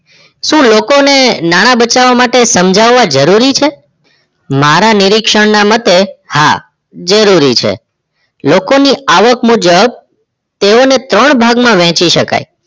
શું લોકોને નાના બચાવવા માટે સમજાવવા જરૂરી છે મારા નિરીક્ષણ ના મતે હા જરૂરી છે લોકો આવક મુજબ તેઓ ને ત્રણ ભાગ માં વેચી શકાય